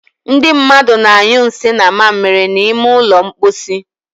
Ndị mmadụ na-anyu nsì na mmamiri n'ime ụlọ mposi